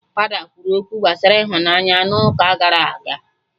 Fada kwuru okwu gbasara ịhụnanya n'ụka gara aga